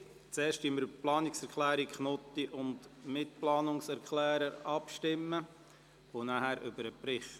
Wir stimmen zuerst über die Planungserklärung ab und anschliessend über den Bericht.